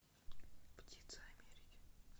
птицы америки